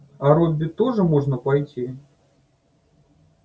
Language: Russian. а робби тоже можно пойти